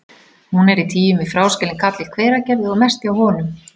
Hún í tygjum við fráskilinn kall í Hveragerði og mest hjá honum.